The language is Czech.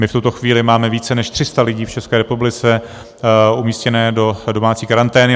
My v tuto chvíli máme více než 300 lidí v České republice umístěných do domácí karantény.